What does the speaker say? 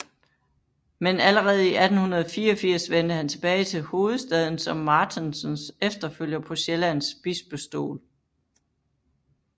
Men allerede 1884 vendte han tilbage til hovedstaden som Martensens efterfølger på Sjællands bispestol